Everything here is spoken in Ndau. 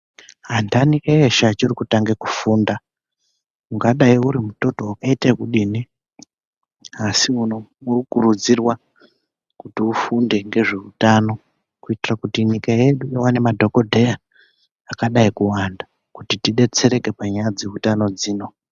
Andani eshe achiri kutange kufunda ungadayi urimututu wakaite ekudini, asi asi urikukurudzirwa kuti ufunde ngezveutano kuitira kuti nyika yedu iwane madhogodheya akadai kuwanda, kuti tidetsereke panyaya dzeutano dzino.